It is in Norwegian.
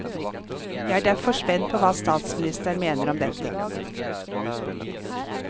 Jeg er derfor spent på hva statsministeren mener om dette.